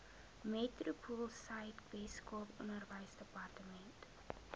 metropoolsuid weskaap onderwysdepartement